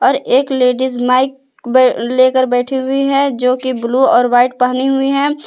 और एक ladies mic ब लेकर बैठी हुई है जो की ब्लू और व्हाइट पहनी हुई है।